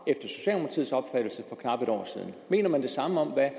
knap et år siden mener man det samme om hvad